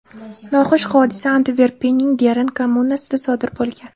Noxush hodisa Antverpenning Dern kommunasida sodir bo‘lgan.